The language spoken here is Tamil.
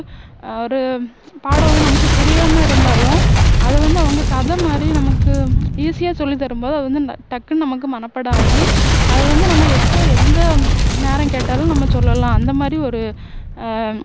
ஆஹ் ஒரு பாடம் வந்து நமக்கு புரியாம இருந்தாலும் அதுவந்து அவங்க கதை மாதிரி நமக்கு easy ஆ சொல்லித்தரும் போது அதுவந்து டக்குன்னு நமக்கு மனப்பாடம் ஆகி அதை வந்து நம்ம எப்போ எந்த நேரம் கேட்டாலும் நம்ம சொல்லலாம் அந்தமாதிரி ஒரு ஆஹ்